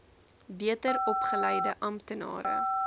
beter opgeleide amptenare